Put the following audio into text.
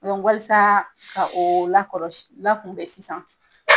walsaa ka oo lakɔlɔs lakunbɛ sisan